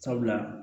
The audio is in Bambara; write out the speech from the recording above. Sabula